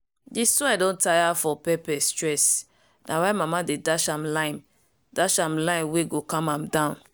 di soil don tire from pepper stress. na why mama dey dash am lime dash am lime wey go calm am down.